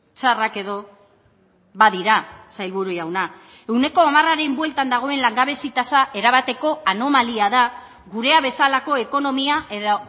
txarrak edo badira sailburu jauna ehuneko hamarraren bueltan dagoen langabezi tasa erabateko anomalia da gurea bezalako ekonomia edo